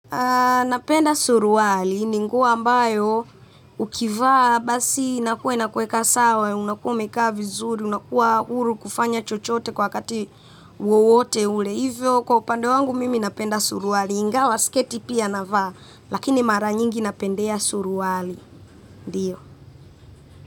Napenda suruali, ni nguo ambayo ukivaa basi inakuwa inakuweka sawa, unakuwa umekaa vizuri, unakuwa huru kufanya chochote kwa wakati wowote ule. Hivyo kwa upande wangu mimi napenda suruali, ingawa sketi pia navaa, lakini mara nyingi napendea suruali.